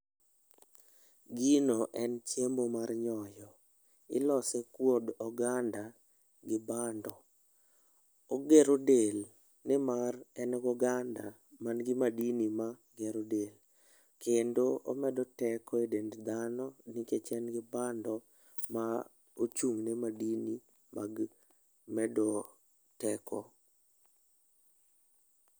Gino en chiemo mar nyoyo. Ilose kod oganda gi bando. Ogero del nimar en goganda man gi madini magero del. Kendo omedo teko e dend dhano nikech en gi bando ma ochung' ne madini mag medruok teko.